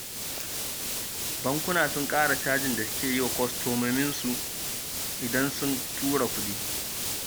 Bankuna sun ƙara cajin da suke yi wa kwastomominsu idan suka tura kuɗi